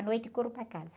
À noite corro para casa.